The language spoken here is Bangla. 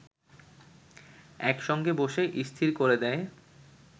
একসঙ্গে বসে স্থির করে দেয়